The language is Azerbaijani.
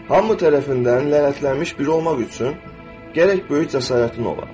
Hamı tərəfindən lənətlənmiş biri olmaq üçün, gərək böyük cəsarətin ola.